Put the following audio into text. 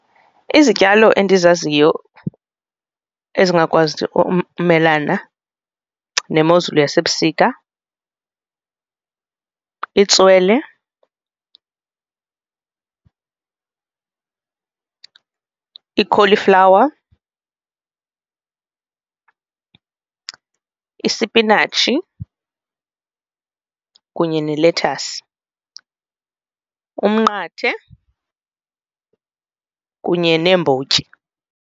Izityalo endizaziyo ezingakwazi umelana nemozulu yasebusika, litswele ikholiflawa, isipinatshi kunye ne-lettuce, umnqathe kunye neembotyi.